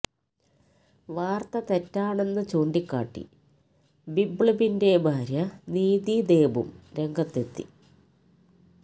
വാര്ത്ത തെറ്റാണെന്ന് ചൂണ്ടിക്കാട്ടി ബിബ്ലബിന്റെ ഭാര്യ നീതി ദേബും രംഗത്തെത്തി